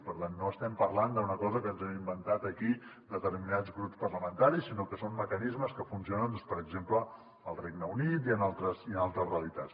per tant no estem parlant d’una cosa que ens hem inventat aquí determinats grups parlamentaris sinó que són mecanismes que funcionen doncs per exemple al regne unit i en altres realitats